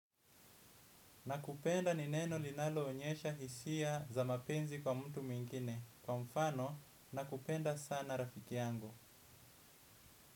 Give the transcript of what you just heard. Nakupenda ni neno linalo onyesha hisia za mapenzi kwa mtu mwingine. Kwa mfano, nakupenda sana rafiki yangu.